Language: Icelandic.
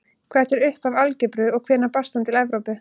Hvert er upphaf algebru og hvenær barst hún til Evrópu?